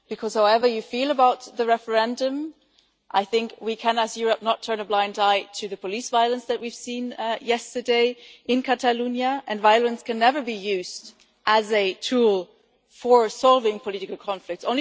However you feel about the referendum, I think we cannot as Europe turn a blind eye to the police violence that we saw yesterday in Catalonia. Violence can never be used as a tool for solving political conflict.